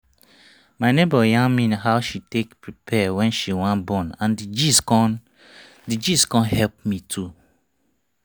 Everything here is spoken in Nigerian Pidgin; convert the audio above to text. my neighbor yarn me how she take prepare wen she wan born and d gist con d gist con help me too